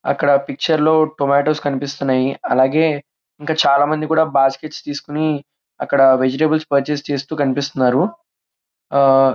అక్కడ పిక్చర్ లో టొమోటోస్ కనిపిస్తున్నాయి. అలాగే ఇంకా చాలా మంది కూడా వెజిటల్స్ పర్చేస్ చేసేది కనిపిస్తున్నారు. ఆహ్ --